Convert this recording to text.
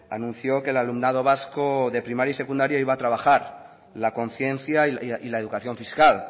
anunció que el alumnado vasco de primaria y secundaria iba a trabajar la conciencia y la educación fiscal